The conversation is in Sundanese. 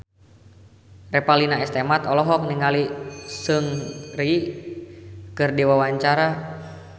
Revalina S. Temat olohok ningali Seungri keur diwawancara